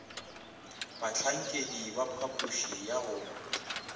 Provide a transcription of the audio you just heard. bahlankedi ba phapoši ya go